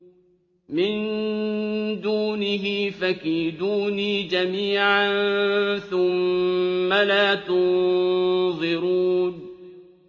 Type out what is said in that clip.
مِن دُونِهِ ۖ فَكِيدُونِي جَمِيعًا ثُمَّ لَا تُنظِرُونِ